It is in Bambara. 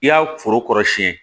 I y'a foro kɔrɔ siyɛn